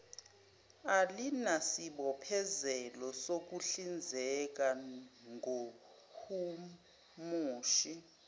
alinasibophezelo sokuhlinzeka ngomhumushi